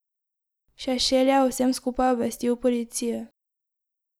Šešelj je o vsem skupaj obvestil policijo.